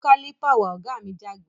Mú Kálìpà wá! ògá mi jágbe